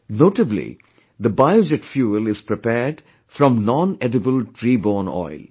Notably, the biojet fuel is prepared from nonedible tree borne oil